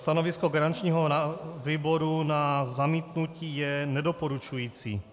Stanovisko garančního výboru na zamítnutí je nedoporučující.